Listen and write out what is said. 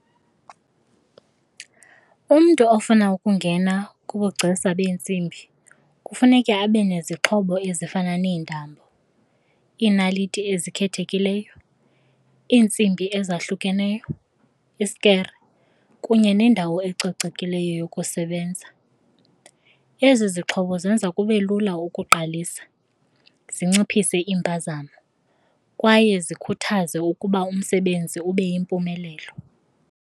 Umntu ofuna ukungena kubugcisa beentsimbi kufuneka abe nezixhobo ezifana neentambo, iinaliti ezikhethekileyo, iintsimbi ezahlukeneyo, isikere kunye nendawo ecocekileyo yokusebenza. Ezi zixhobo zenza kube lula ukuqalisa, zinciphise iimpazamo kwaye zikhuthaze ukuba umsebenzi ube yimpumelelo.